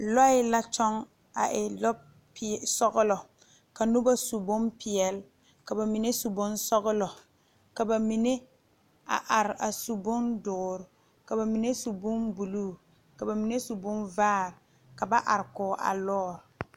Lɔɛ la tɔge a e lɔ peɛle lɔ sɔglɔ kaa noba su bonpeɛle ka bamine su bonsɔglɔ ka bamine a are a su bondoɔre ka bamine su bonbuluu ka bamine su bonvaare ka ba are kɔŋ a lɔre.